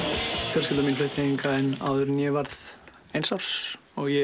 fjölskylda mín flutti hingað inn áður en ég varð eins árs og ég